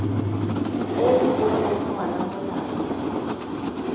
e e boneng ngwana molato